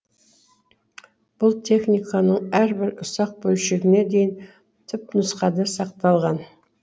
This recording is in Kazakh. бұл техниканың әрбір ұсақ бөлшегіне дейін түпнұсқада сақталған